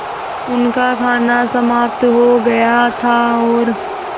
उनका खाना समाप्त हो गया था और